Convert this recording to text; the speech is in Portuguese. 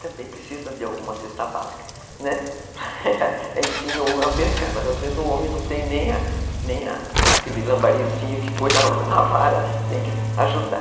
Também precisa de alguma cesta básica, né, ensina o homem a pescar, mas às vezes o homem não tem nem aquele lambarizinho que põe na vara, tem que ajudar.